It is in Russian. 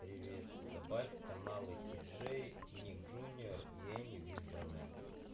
привет добавь каналы ти джей ник джуниор и энни в избранное